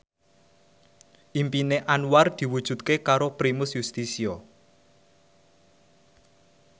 impine Anwar diwujudke karo Primus Yustisio